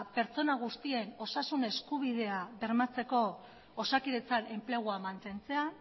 pertsona guztien osasun eskubidea bermatzeko osakidetzan enplegua mantentzea